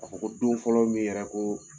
A ko ko don fɔlɔ min yɛrɛ ko